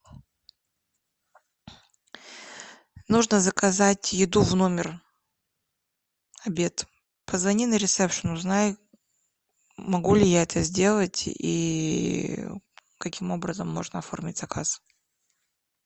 нужно заказать еду в номер обед позвони на ресепшен узнай могу ли я это сделать и каким образом можно оформить заказ